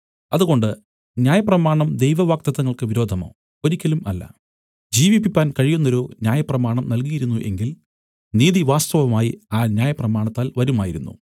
അതുകൊണ്ട് ന്യായപ്രമാണം ദൈവവാഗ്ദത്തങ്ങൾക്ക് വിരോധമോ ഒരിക്കലും അല്ല ജീവിപ്പിപ്പാൻ കഴിയുന്നൊരു ന്യായപ്രമാണം നല്കിയിരുന്നു എങ്കിൽ നീതി വാസ്തവമായി ആ ന്യായപ്രമാണത്താൽ വരുമായിരുന്നു